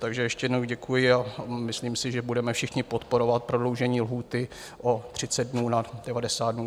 Takže ještě jednou děkuji a myslím si, že budeme všichni podporovat prodloužení lhůty o 30 dnů na 90 dnů.